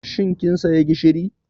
Shin kin saya gishiri?